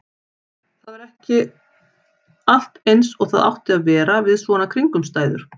Það var ekki allt eins og það átti að vera við svona kringumstæður.